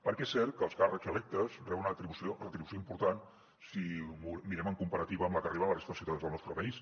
perquè és cert que els càrrecs electes reben una retribució important si ho mirem en comparativa amb la que reben la resta de ciutadans del nostre país